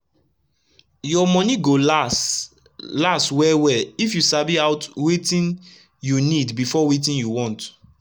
ur moni go las las wel wel if u sabi out wetin u nid before wetin u want